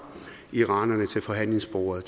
iranerne til forhandlingsbordet